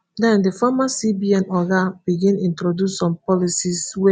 den di former cbn oga begin introduce some policies wey